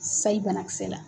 Sayi banakisɛ la.